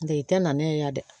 I tɛ na ne ye yan dɛ